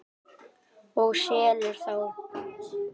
Og selur þá.